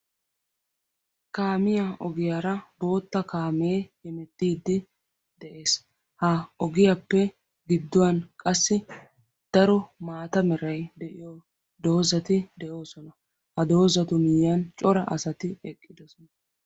Kaamiya ogiyara bootta kaame de'ees. Ha ogiyappe daro maatta meray de'iyo doozzatti de'osonna.